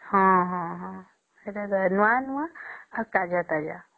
ହଁ ହଁ ହଁ ନୂଆ ନୂଆ ଆଉ ତାଜା ତାଜା